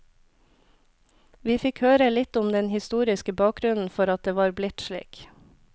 Vi fikk høre litt om den historiske bakgrunnen for at det var blitt slik.